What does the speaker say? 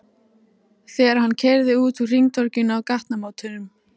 Þegar hann keyrði út úr hringtorginu á gatnamótum